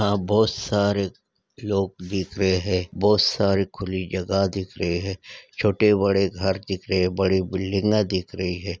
यहाँ बहुत सारे लोग दिख रहे है बहुत सारी खुली जगह दिख रही है छोटे-बड़े घर दिख रहे है बड़ी बिल्डिंगा दिख रही है।